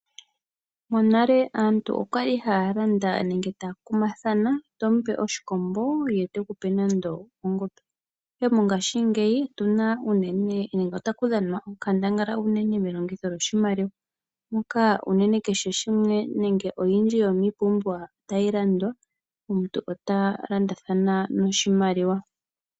Monale aantu okwali haya landa nenge takumathana tomu pe oshikombo ye tekupe nando ongombe ihe mongashingeyi otu na uunene nenge otaku dhanwa onkandangala unene melongitho ndjo shimaliwa moka unene kehe shimwe nenge oyindji yomipumbiwa tayi landwa omuntu ota landathana noshimaliwa.